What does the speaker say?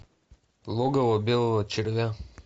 логово белого червя